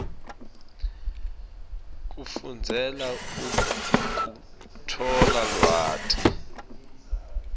kufundzela kutfola lwati